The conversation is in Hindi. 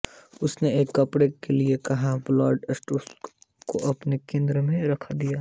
उसने एक कपड़े के लिए कहा और ब्लैक स्टोन को अपने केंद्र में रख दिया